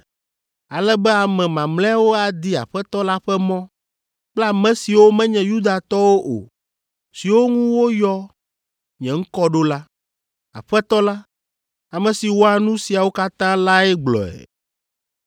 ale be ame mamlɛawo adi Aƒetɔ la ƒe mɔ kple ame siwo menye Yudatɔwo o siwo ŋu woyɔ nye ŋkɔ ɖo la. Aƒetɔ la, ame si wɔa nu siawo katã lae gblɔe.’